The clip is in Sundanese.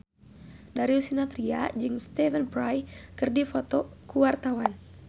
Darius Sinathrya jeung Stephen Fry keur dipoto ku wartawan